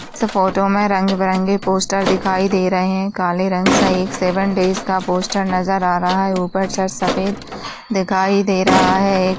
इस फोटो में रंग बिरंगे पोस्टर दिखाई दे रहें। काले रंग सा एक सेवन डेस का पोस्टर नजर आ रहा है। ऊपर छत सफेद दिखाई दे रहा है।